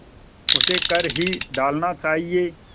उसे कर ही डालना चाहिए